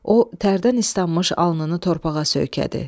O tərdən islanmış alnını torpağa söykədi.